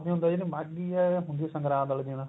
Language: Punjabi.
ਹੁੰਦਾ ਜਿਵੇਂ ਮਾਘੀ ਹੁੰਦੀ ਸੰਗਰਾਂਦ ਵਾਲੇ ਦਿਨ